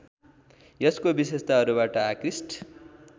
यसको विशेषताहरूबाट आकृष्ट